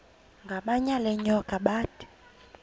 ngamanyal enyoka bathi